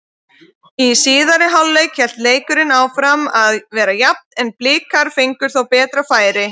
Í síðari hálfleik hélt leikurinn áfram að vera jafn en Blikar fengu þó betri færi.